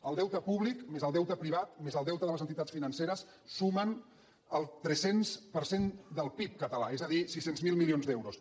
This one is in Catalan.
el deute públic més el deute privat més el deute de les entitats financeres sumen el tres cents per cent del pib català és a dir sis cents miler milions d’euros